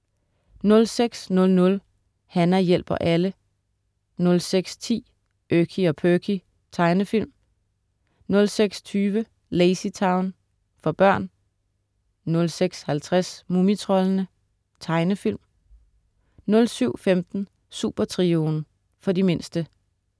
06.00 Hana hjælper alle 06.10 Erky og Perky. Tegnefilm 06.20 LazyTown. For børn 06.50 Mumitroldene. Tegnefilm 07.15 Supertrioen. For de mindste